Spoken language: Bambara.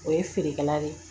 O ye feerekɛla de ye